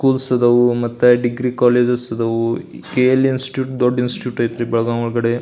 Schools ಆದಾವು ಮತ್ತೆ degree colleges ಆದವು ಕೇ.ಎಲ್.ಈ ಇನ್ಸ್ಟಿಟ್ಯೂಟ್ ದೊಡ್ಡ ಇನ್ಸ್ಟಿಟ್ಯೂಟ್ ಅಯ್ತ್ರಿ ಬೆಳಗಾಂ ಒಳಗಡೇ.